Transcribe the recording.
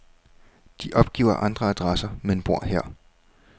De opgiver andre adresser, men bor her.